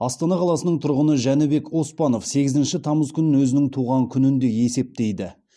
астана қаласынынң тұрғыны жәнібек оспанов сегізінші тамыз күнін өзінің туған күніндей есептейді